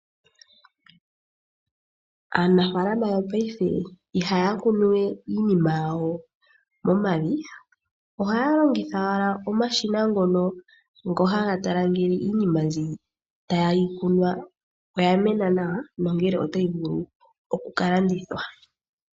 Aanafaalama yopaife ihaya kunuwe iinima yawo momavi, ohaya longitha omashina ngono haga tala iinima mbyono tayi kunwa ngele oya mena nawa, nongele otayi vulu okukalandithwa.